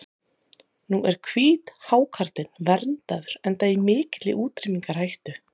Nú er hvíthákarlinn verndaður enda í mikilli útrýmingarhættu.